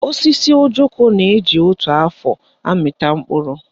Osisi ojoko na-eji otu afọ amịta mkpụrụ